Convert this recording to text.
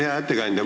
Hea ettekandja!